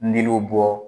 N'u bɔ